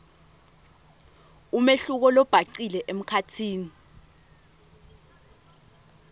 umehluko lobhacile emkhatsini